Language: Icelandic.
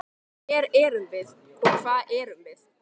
Hver erum við og hvað erum við?